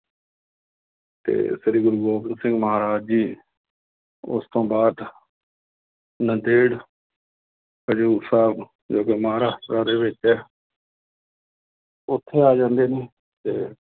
ਤੇ ਸ੍ਰੀ ਗੁਰੂ ਗੋਬਿੰਦ ਸਿੰਘ ਮਹਾਰਾਜ ਜੀ ਉਸ ਤੋਂ ਬਾਅਦ ਨੰਦੇੜ ਹਜ਼ੂਰ ਸਾਹਿਬ ਜੋ ਦੇ ਵਿੱਚ ਹੈ ਉੱਥੇ ਆ ਜਾਂਦੇ ਨੇ ਤੇ